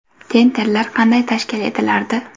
Tenderlar qanday tashkil etilardi?